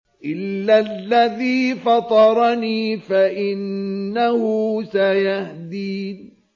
إِلَّا الَّذِي فَطَرَنِي فَإِنَّهُ سَيَهْدِينِ